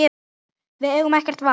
Við eigum ekkert val